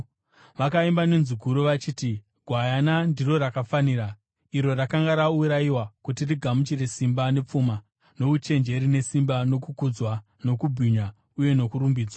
Vakaimba nenzwi guru vachiti: “Gwayana ndiro rakafanira, iro rakanga raurayiwa, kuti rigamuchire simba nepfuma nouchenjeri nesimba nokukudzwa nokubwinya uye nokurumbidzwa!”